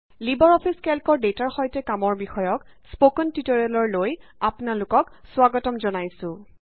Libre office কেল্কৰ ডেটাৰ সৈতে কামৰ বিষয়ক স্পকেন টিউটৰিয়েললৈ আপোনাক স্বাগতম জনাইছোঁ